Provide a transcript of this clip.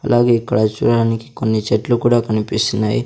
అలాగే ఇక్కడ చూడడానికి కొన్ని చెట్లు కూడా కనిపిస్తున్నాయి.